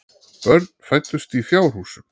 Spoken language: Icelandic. Börn fæddust í fjárhúsum.